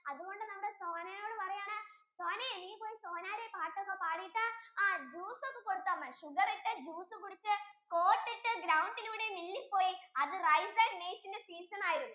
അതുകൊണ്ടു നമ്മുടെ sona യോടു പറയുകയാണ് sona നീ പോയി സോനേരെ പാട്ടൊക്കെ പാടിടു ആ juice ഒക്കെ കൊടുത്താൽ മതി sugar ഇട്ട juice കുടിച്ചു coat ഇട്ടു ground ലൂടെ mill ലേക്കു പോയി അത് rice and maize ഇന്റെ season ആയിരുന്നു